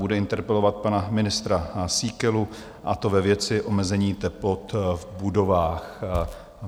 Bude interpelovat pana ministra Síkelu, a to ve věci omezení teplot v budovách.